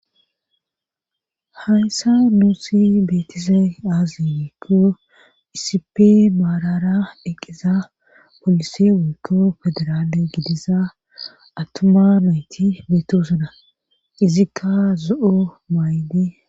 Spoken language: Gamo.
Hayssa nuusi beetise aazi ikko iisipe maarara eqqiza polise wokko federaale gidiza attuma meyti beetosuda izikka zo7o maayde